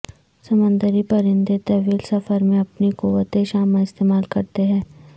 سمندری پرندے طویل سفر میں اپنی قوت شامہ استعمال کرتے ہیں